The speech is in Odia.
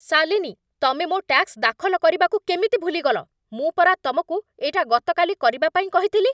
ଶାଲିନୀ, ତମେ ମୋ' ଟ୍ୟାକ୍ସ ଦାଖଲ କରିବାକୁ କେମିତି ଭୁଲିଗଲ? ମୁଁ ପରା ତମକୁ ଏଇଟା ଗତକାଲି କରିବା ପାଇଁ କହିଥିଲି!